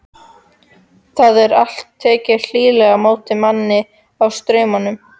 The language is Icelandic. Það er alltaf tekið hlýlega á móti manni á Straumum.